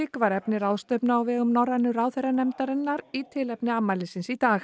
var efni ráðstefnu á vegum Norrænu ráðherranefndarinnar í tilefni afmælisins í dag